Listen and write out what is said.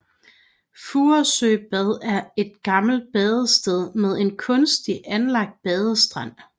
Furesøbad er et gammelt badested med en kunstigt anlagt badestrand